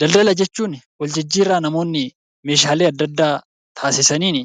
Daldala jechuun waljijjiirraa namoonni meeshaale adda addaa taasisaniin